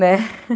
Né?